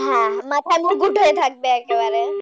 হ্যাঁ হ্যাঁ মাথার মুকুট হয়ে থাকবে একেবারে,